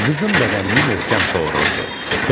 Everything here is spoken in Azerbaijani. Qızım bədənimi möhkəm sovururdu.